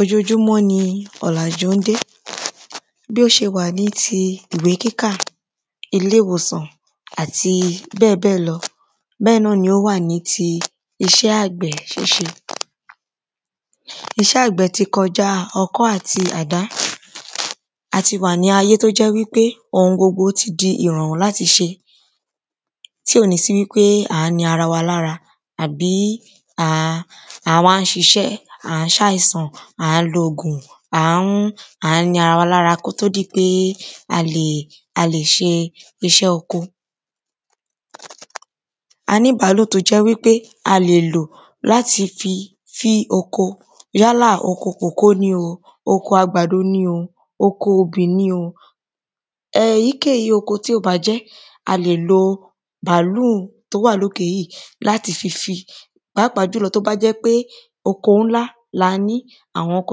Ojojúmọ́ ni ọ̀làjú ń dé. Bí ó ṣe wà ní ti ìwé kíkà ilé ìwòsàn àti bẹ́ẹ̀ bẹ́ẹ̀ lọ bẹ́ẹ̀ náàni ó wà níbi iṣẹ́ àgbẹ̀ ṣíṣe. Iṣẹ́ àgbẹ̀ ti kọjá ọkọ́ àti àdá a ti wà ní ayé tó jẹ́ wípé ohun gbogbo ti di ìrọ̀rùn láti ṣe. Tí ò ní sí wípé à ń ni ara wa lára àbí à ń a wá ń ṣiṣẹ́ à ń ṣàìsàn à á ń lo òògùn à ń à ń ni ara wa lára kó tó di pé a lè ṣiṣẹ́ oko. A níbàálò tó jẹ́ pé a lè lò láti fi fín oko yálà oko kòkó ni o oko àgbàdo ni o oko obì ni o èyíkéyìí oko tí ó bá jẹ́ a lè lo bàálù tó wà lókè yìí láti fi fín pàápàá jùlọ tó bá jẹ́ pé oko ńlá la ní àwọn oko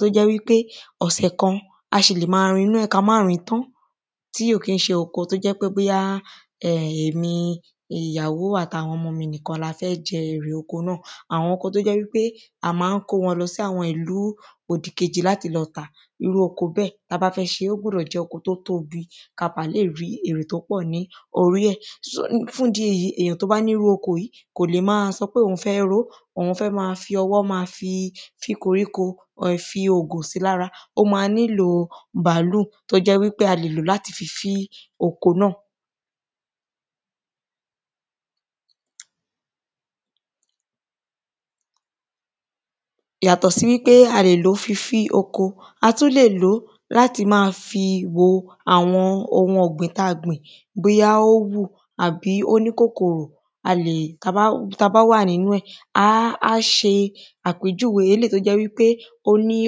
tó jẹ́ wípé ọ̀sẹ̀ kan a ṣì lè má rin inú ẹ̀ ká má rìn tán tí ò kí ṣe oko tó jẹ́ pé bóyá èmi ìyàwò àti àwọn ọmọ mi nìkan la fẹ́ jẹ erè oko náà àwọn oko tó jẹ́ wípé a má ń kó wọn lọ sí àwọn ìlú òdì kejì láti lọ tà irú oko bẹ́ẹ̀ tá bá fẹ́ ṣe ó gbọ́dọ̀ jẹ́ oko tó tóbi ká bá lè rí èrè tó pọ̀ ní orí ẹ̀ fún ìdí èyí èyàn tó bá ní irú oko yìí kò lè má sọ pé òhun fẹ́ ró òhun fẹ́ má fi ọwọ́ má fi fín koríko má fi òògùn sí lára ó má nílò bàálú tó jẹ́ wípé a lè lò láti fín oko náà. Yàtọ̀ sí wípé a lè fi fín oko a tún lè lò láti má fi wo àwọn ohun ọ̀gbìn tí á ó bù tàbí ó nĩ́ kòkòrò tá bá tá bá wà nínú ẹ̀ á á ṣe àpèjúwe eléèyí tó jẹ́ wípé ó ní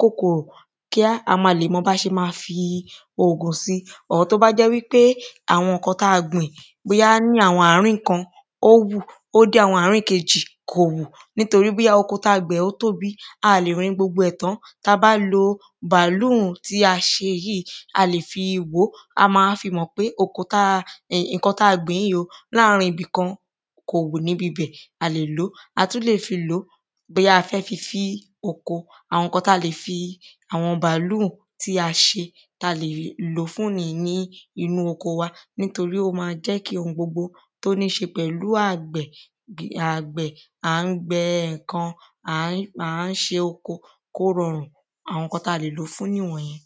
kòkòrò kí a ba lè mọ bí a ṣe le má fògùn sí ohun tó bá́ jẹ́ wípé àwọn nǹkan tá gbìn ní àwọn ààrín kan ó hù ó dé àwọn ààrín kejì kò hù nítorípé oko tá gbìn ó tóbi a lè rin gbogbo ẹ̀ tán tá bá lo bàálù tí a ṣe yìí a lè fi wòó a má fi mọ̀ pé oko tá gbìn yìí láàrin ibìkan kò hù níbi bẹ̀ a lè lòó a tún lè fi lòó bóyá a fẹ́ fín sí oko àwọn nǹkan tá lè fi àwọn bàálù tí a ṣe tá le lò fún ni ní inú oko wa torí ó má jẹ́ kí ohun gbogbo tó níṣe pẹ̀lú àgbẹ̀ à ń gbẹ nǹkan à ń à ń ṣe oko kó rọrùn àwọn nǹkan tá le lò fún nìwọ̀n yẹn.